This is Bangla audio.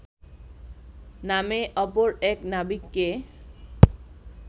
নামে অপর এক নাবিককে